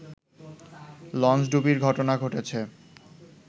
লঞ্চডুবির ঘটনা ঘটেছে